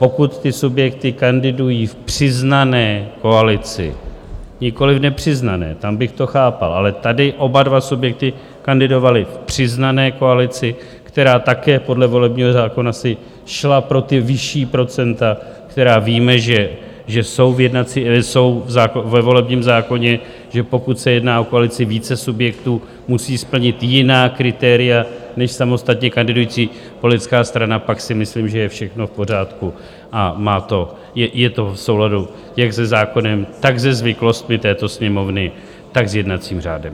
Pokud ty subjekty kandidují v přiznané koalici, nikoliv v nepřiznané, tam bych to chápal, ale tady oba dva subjekty kandidovaly v přiznané koalici, která také podle volebního zákona si šla pro ta vyšší procenta, která víme, že jsou ve volebním zákoně, že pokud se jedná o koalici více subjektů, musí splnit jiná kritéria než samostatně kandidující politická strana, pak si myslím, že je všechno v pořádku a je to v souladu jak se zákonem, tak se zvyklostmi této Sněmovny, tak s jednacím řádem.